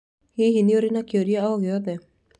Hihi nĩ ũrĩ na kĩũria o gĩothe?